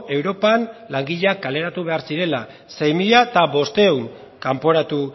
europan langileak kaleratu behar zirela sei mila bostehun kanporatu